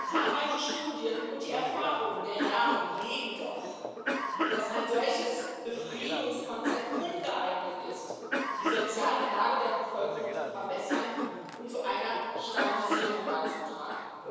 Zahlreiche Studien und die Erfahrung der Jahre belegen doch, dass ein solches Befriedungskonzept ungeeignet ist, die soziale Lage der Bevölkerung zu verbessern und zu einer Stabilisierung beizutragen.